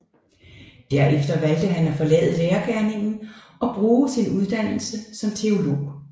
Derefter valgte han at forlade lærergerningen og bruge sin uddannelse som teolog